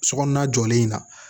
Sokɔnɔna jɔlen na